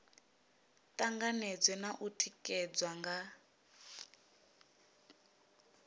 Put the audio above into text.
tanganedzwe na u tikedzwa nga